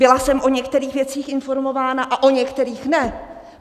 Byla jsem o některých věcech informována, a o některých ne!